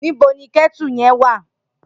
Nibó ni kètú yèn.wá?